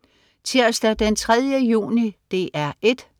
Tirsdag den 3. juni - DR 1: